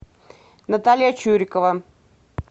наталья чурикова